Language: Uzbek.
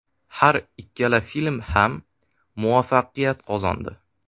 Har ikkala film ham muvaffaqiyat qozondi.